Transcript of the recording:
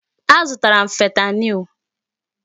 Azụtara m fentanyl.